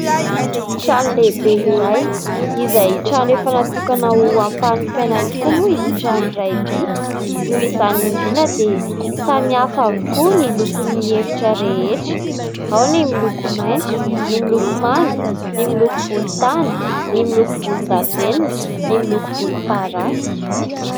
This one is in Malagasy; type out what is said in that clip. Trano lehibe iray izay trano efa natokana ho ampanofaina tokoa moa ity trano iray ity ; noho izany indrindra dia samy hafa avokoa ny lokon'ny efitra rehetra ao ny miloko maitso, ny miloko manga, ny miloko volontany, ny miloko volondavenona, ny miloko volomparasy.